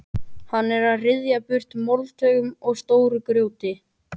Hún er að ryðja burtu moldarhaugum og stóru grjóti.